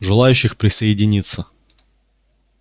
желающих присоединиться